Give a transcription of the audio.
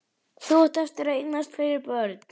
En þú átt eftir að eignast fleiri börn.